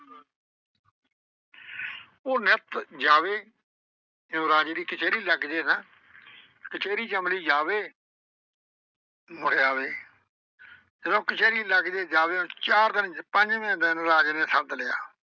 ਉਹ ਨਿੱਤ ਜਾਵੇ। ਜਦੋਂ ਰਾਜੇ ਦੀ ਕਚਹਿਰੀ ਲੱਗ ਜਏ ਨਾ। ਕਚਹਿਰੀ ਚ ਅਮਲੀ ਜਾਵੇ ਮੁੜ ਆਵੇ ਜਦੋਂ ਕਚਹਿਰੀ ਲੱਗ ਜਏ। ਚਾਰ ਦਿਨ ਪੰਜਵੇਂ ਦਿਨ ਰਾਜੇ ਨੇ ਸੱਦ ਲਿਆ।